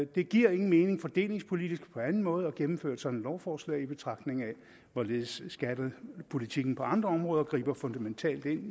det giver ingen mening fordelingspolitisk eller på anden måde at gennemføre et sådant lovforslag i betragtning af hvorledes skattepolitikken på andre områder griber fundamentalt ind